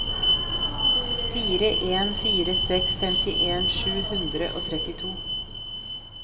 fire en fire seks femtien sju hundre og trettito